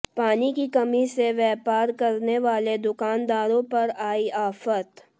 पानी की कमी से व्यापार करने वाले दुकानदारों पर आई आफत